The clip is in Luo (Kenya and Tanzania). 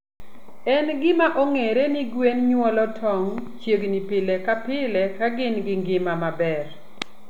En gima ong'ere ni gwen nyuolo tong' chiegni pile ka pile ka gin gi ngima maber.